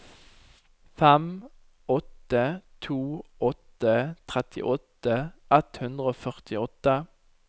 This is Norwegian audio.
fem åtte to åtte trettiåtte ett hundre og førtiåtte